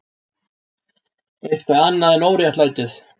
Eitthvað annað en óréttlætið.